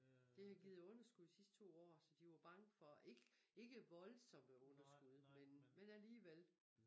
Det havde givet underskud sidste to år så de var bange for ikke ikke voldsomme underskud men men alligevel